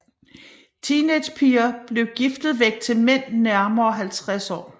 Teenagerpiger blev giftet væk til mænd nærmere 50 år